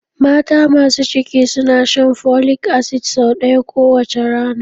Mata masu ciki suna shan folic acid sau ɗaya kowace rana